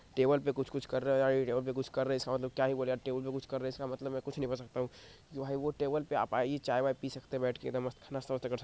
Table पे कुछ कुछ कर रहे है हां ये टेबल पे कुछ कर रहे इसका मतलब क्या ही बोले या टेबल पे कुछ कर रहे इसका मतलब में कुछ नहीं कर सकता हूँ जो है वो टेबल पे आप आये चाय वाय पी सकते है बैठ के इधर मस्त नास्ता बासता कर सकते है।